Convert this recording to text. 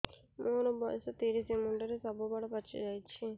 ମୋର ବୟସ ତିରିଶ ମୁଣ୍ଡରେ ସବୁ ବାଳ ପାଚିଯାଇଛି